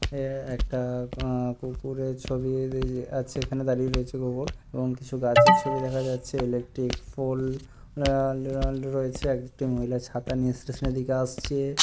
এ একটা আ কুকুরের ছবি এ দেজি আছে এখানে দাঁড়িয়ে রয়েছে কুকুর এবং কিছু গাছের ছবি দেখা যাচ্ছে ইলেকট্রিক পোল আ আ রয়েছে। একটি মহিলা ছাতা নিয়ে স্টেশন এর দিকে আসছে।